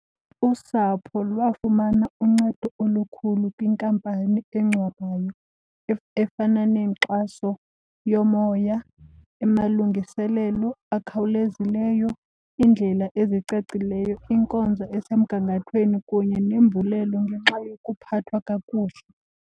Usapho lwafumana uncedo olukhulu kwinkampani engcwabayo efana nenkxaso yomoya, amalungiselelo akhawulezileyo, iindlela ezicacileyo, inkonzo esemgangathweni kunye nembulelo ngenxa yokuphathwa kakuhle.